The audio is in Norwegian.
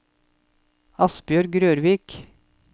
Asbjørg Rørvik